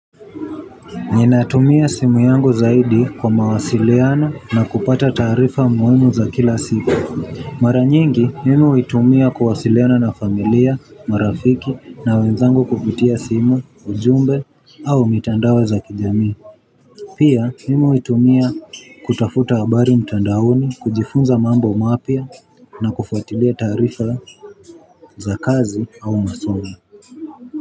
Ninatumia simu yangu zaidi kwa mawasiliano na kupata taarifa muhimu za kila siku. Mara nyingi, mimi huitumia kuwasiliana na familia, marafiki na wenzangu kupitia simu, ujumbe au mitandao za kijami. Pia, mimi huitumia kutafuta habari mtandaoni, kujifunza mambo mapya na kufuatilia taarifa za kazi au masomo.